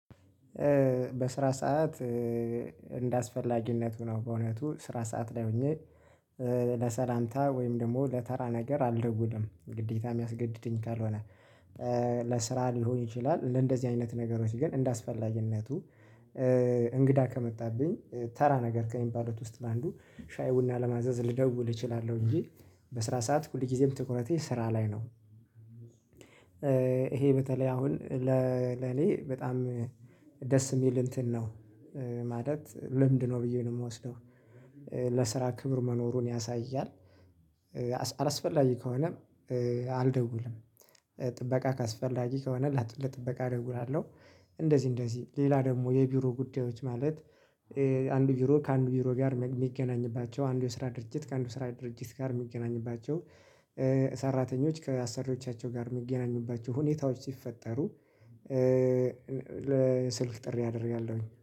በስራ ሰዓት እንደ አስፈላጊነቱ ነው። በእውነቱ ስራ ሰዓት ላይ ሆኜ ለሰላምታ ወይም ደግሞ ለተራ ነገር አልደውልም ግዴታ የሚያስገድደኝ ካልሆነ ለስራ ሊሆን ይችላል። ለእንደዚህ አይነት ነገሮች ግን እንደ አስፈላጊነቱ እንግዳ ከመጣብኝ ተራ ነገር ከሚባሉት ውስጥ አንዱ ሻይ ቡና ለማዘዝ ልደውል እችላለሁ እንጂ በስራ ሰዓት ሁል ጊዜም ትኩረቴ ስራ ላይ ነው። ይሄ በተለይ አሁን ለኔ በጣም ደስ የሚል እንትን ነው ማለት ልምድ ነው ብዬ ነው የምወስደው። ለስራ ክብር መኖሩን ያሳያል። አላስፈላጊ ከሆነ አልደውልም። ጥበቃ ካስ ፈላጊ ከሆነ ለጥበቃ እደዉላለሁ። እንደዚህ እንደዚህ ሌላ ደግሞ የቢሮ ጉዳዮች ማለት አንድ ቢሮ ከአንድ ቢሮ ጋር የሚገናኝባቸው አንዱ ስራ ድርጅት ከአንዱ ስራ ድርጅት ጋር የሚገናኝባቸው ሰራተኞች ከአሰሪዎቻቸው ጋር የሚገናኙባቸው ሁኔታዎች ሲፈጠሩ። ለስልክ ጥሪ አደርጋለሁኝ